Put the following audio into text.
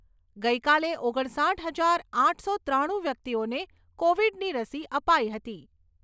ગઈકાલે ઓગણસાઈઠ હજાર આઠસો ત્રાણું વ્યક્તિઓને કોવિડની રસી અપાઈ હતી.